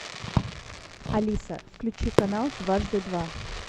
алиса включи канал дважды два